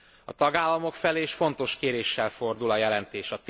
A tagállamok felé is fontos kéréssel fordul a jelentés.